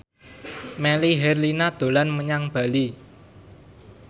Melly Herlina dolan menyang Bali